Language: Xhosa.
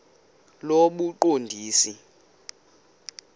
lobuqondisi